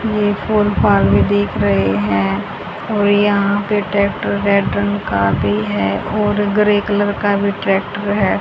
ये एक दिख रहे हैं और यहां पे ट्रैक्टर रेड रंग का भी है और ग्रे कलर का भी ट्रैक्टर है।